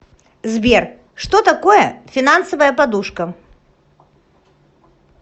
сбер что такое финансовая подушка